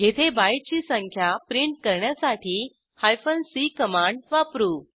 येथे बाईटची संख्या प्रिंट करण्यासाठी सी कमांड वापरू